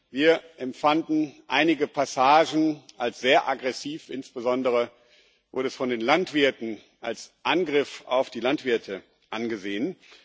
Wir empfanden einige Passagen als sehr aggressiv, insbesondere wurden sie von den Landwirten als Angriff auf die Landwirte angesehen.